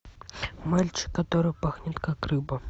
мальчик который пахнет как рыба